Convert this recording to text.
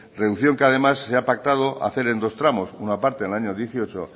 reducción que además se ha pactado hacer en dos tramos una parte en el año dos mil dieciocho